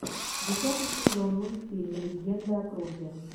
десятый сезон мультфильм легенда о круге